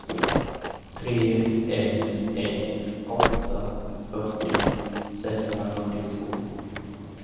tre ett ett åtta fyrtio sexhundrafyrtiotvå